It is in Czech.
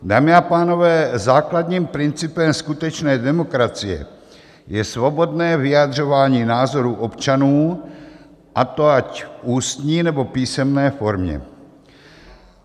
Dámy a pánové, základním principem skutečné demokracie je svobodné vyjadřování názorů občanů, a to ať v ústní, nebo písemné formě.